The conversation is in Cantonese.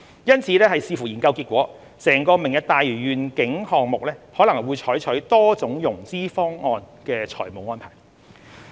因此，視乎研究結果，整個"明日大嶼願景"項目可能會採取多種融資方案的財務安排。